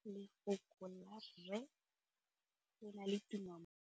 Lefoko la rre le na le tumammogôpedi ya, r.